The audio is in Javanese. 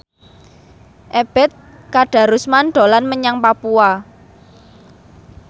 Ebet Kadarusman dolan menyang Papua